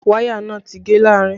Wáyà náà ti gé láàrin